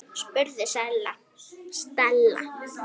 spurði Stella.